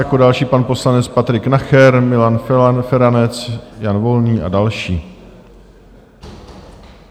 Jako další pan poslanec Patrik Nacher, Milan Feranec, Jan Volný a další.